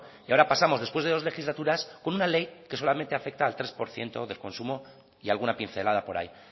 y ahora pasamos después de dos legislatura una ley que solamente afecta al tres por ciento del consumo y alguna pincelada por ahí